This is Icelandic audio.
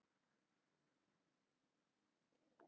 Sóttu bát sem sökk